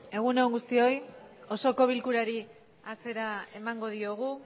egun on guztioi osoko bilkurari hasiera emango diogu